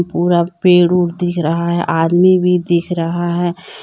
पूरा पेड़ ओड़ दिख रहा है आदमी भी दिख रहा है।